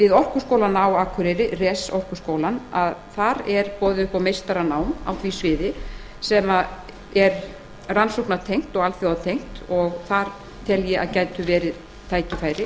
við orkuskólann á akureyri res orkuskólann er boðið upp á meistaranám á því sviði sem er rannsóknartengt og alþjóðatengt ég tel að þar geti verið tækifæri